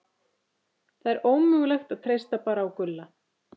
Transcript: Það er ómögulegt að treysta bara á Gulla.